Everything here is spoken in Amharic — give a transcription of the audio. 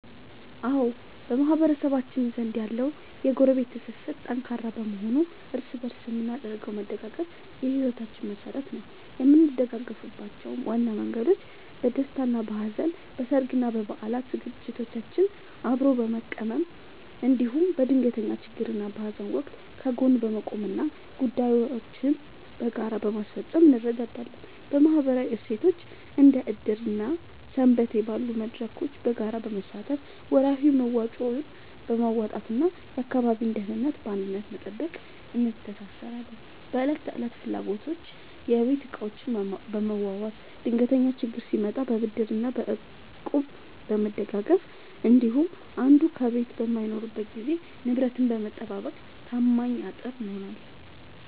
አዎ፣ በማህበረሰባችን ዘንድ ያለው የጎረቤት ትስስር ጠንካራ በመሆኑ እርስ በእርስ የምናደርገው መደጋገፍ የሕይወታችን መሠረት ነው። የምንደጋገፍባቸው ዋና መንገዶች፦ በደስታና በሐዘን፦ በሠርግና በበዓላት ዝግጅቶችን አብሮ በመቀመም፣ እንዲሁም በድንገተኛ ችግርና በሐዘን ወቅት ከጎን በመቆምና ጉዳዮችን በጋራ በማስፈጸም እንረዳዳለን። በማኅበራዊ እሴቶች፦ እንደ ዕድር እና ሰንበቴ ባሉ መድረኮች በጋራ በመሳተፍ፣ ወርሃዊ መዋጮዎችን በማዋጣትና የአካባቢን ደህንነት በአንድነት በመጠበቅ እንተሳሰራለን። በዕለት ተዕለት ፍላጎቶች፦ የቤት ዕቃዎችን በመዋዋስ፣ ድንገተኛ ችግር ሲመጣ በብድርና በእቁብ በመደጋገፍ እንዲሁም አንዱ ከቤት በማይኖርበት ጊዜ ንብረትን በመጠባበቅ ታማኝ አጥር እንሆናለን።